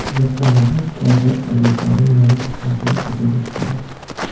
Yaponiyada kvadrat tarvuzlarning yangi hosili sotuvga chiqadi.